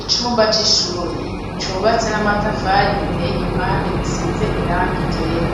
Icumba c'ishure cubatse n'amatafari giteye igipande gisize irangi ryera